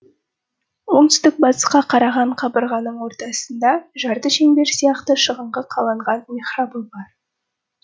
оңтүстік батысқа қараған қабырғаның ортасында жарты шеңбер сияқты шығыңқы қаланған михрабы бар